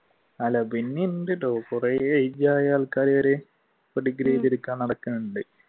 അല്ല പിന്നെയെണ്ടട്ടോ കുറെ age ആയ ആൾക്കാർ ഇപ്പൊ ഡിഗ്രി എഴുതി എടുക്കാൻ നടക്കുന്നുണ്ട്.